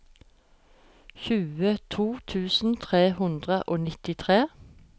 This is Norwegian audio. tjueto tusen tre hundre og nittitre